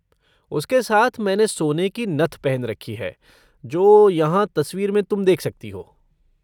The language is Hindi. उसके साथ मैंने सोने की नथ पहन रखी है, जो यहाँ तस्वीर में तुम देख सकती हो।